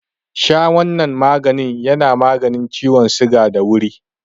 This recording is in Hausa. Sha wanan maganin yana maganin ciwon suga da wuri.